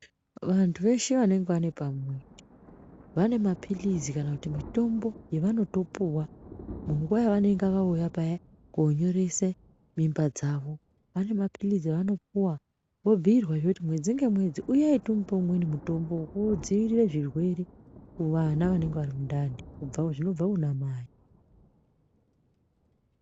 Vantu veshe vanenge vane pamuwiri vane mapilizi kana mitombo yavanopopewa munguwa yavanenge vauye paya konyorese mimba dzavo vane mapilizi avanopuwa vobhiirwazve kuti mwedzi ngemwedzi uyayi timupe imweni mitombo wekudzivirire zvirwere kuvana vanenge vari mundani zvinobva kunamai.